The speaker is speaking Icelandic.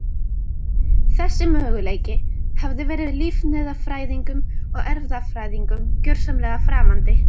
Þessi möguleiki hafði verið lífefnafræðingum og erfðafræðingum gjörsamlega framandi.